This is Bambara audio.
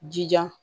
Jija